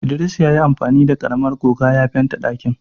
Idris ya yi amfani da karamar goga ya fente ɗakin.